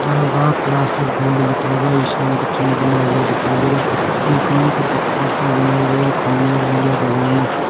यहाँ the class of gold लिखा हुआ इसाईं का चिन्ह बना हुआ दिखाई दे रहा है मकान को पत्थरों की बनाए हुए खंभे बनाया गया हैं ।